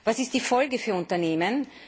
Was ist die Folge für Unternehmen?